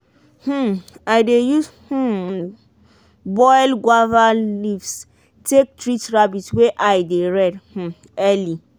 um i dey use um boil guava leaves take treat rabbit wey eye dey red um early.